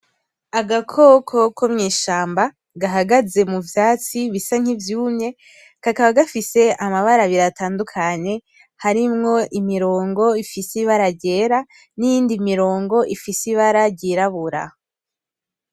Agakoko ko mw'ishamba gahagaze muvyatsi bisa nk'ivyumye , kakaba gafise amabara abiri atandukanye harimwo imirongo ifise ibara ryera, n'iyindi mirongo ifise ibara ry'irabura.